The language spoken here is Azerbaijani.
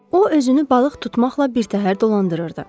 O özünü balıq tutmaqla birtəhər dolandırırdı.